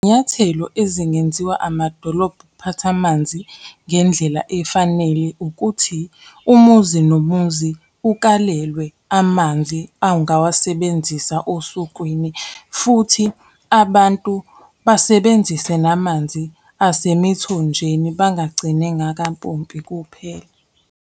Izinyathelo ezingenziwa amadolobha ukuphatha amanzi ngendlela efanele ukuthi, umuzi nomuzi ukalelwe amanzi angawasebenzisa osukwini, futhi abantu basebenzise namanzi asemithonjeni, bangagcini ngakampompi kuphela.